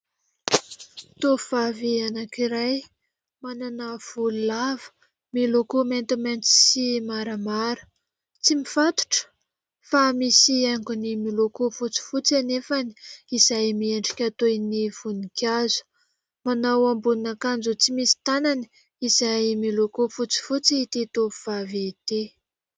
Tovovavy anankiray manana volo lava miloko maintimainty sy maramara tsy mifatotra fa misy haingony miloko fotsifotsy anefa izay miendrika toy ny voninkazo. Manao ambonin'akanjo tsy misy tanany izay miloko fotsifotsy ity tovovavy ity